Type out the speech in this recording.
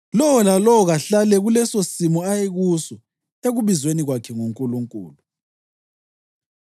Lowo lalowo kahlale kulesosimo ayekuso ekubizweni kwakhe nguNkulunkulu.